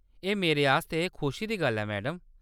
एह् मेरे आस्तै खुशी दी गल्ल ऐ, मैडम।